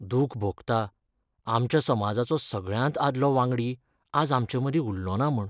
दूख भोगता, आमच्या समाजाचो सगळ्यांत आदलो वांगडी आज आमचे मदीं उल्लोना म्हूण.